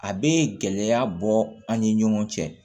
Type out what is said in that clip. A bɛ gɛlɛya bɔ an ni ɲɔgɔn cɛ